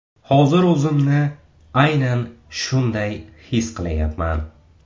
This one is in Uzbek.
Hozir o‘zimni aynan shunday his qilyapman.